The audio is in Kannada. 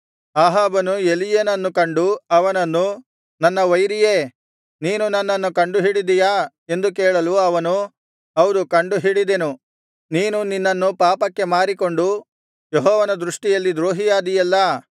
ಅಹಾಬನು ಎಲೀಯನನ್ನು ಕಂಡು ಅವನನ್ನು ನನ್ನ ವೈರಿಯೇ ನೀನು ನನ್ನನ್ನು ಕಂಡುಹಿಡಿದೆಯಾ ಎಂದು ಕೇಳಲು ಅವನು ಹೌದು ಕಂಡುಹಿಡಿದ್ದೆನು ನೀನು ನಿನ್ನನ್ನು ಪಾಪಕ್ಕೆ ಮಾರಿಕೊಂಡು ಯೆಹೋವನ ದೃಷ್ಟಿಯಲ್ಲಿ ದ್ರೋಹಿಯಾದಿಯಲ್ಲಾ